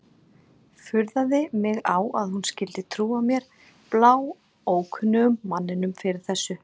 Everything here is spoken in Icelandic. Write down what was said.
Furðaði mig á að hún skyldi trúa mér, bláókunnugum manninum, fyrir þessu.